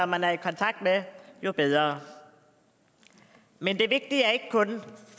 man er i kontakt med jo bedre men det vigtige er ikke kun